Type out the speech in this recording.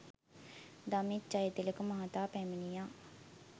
දමිත් ජයතිලක මහතා පැමිණියා.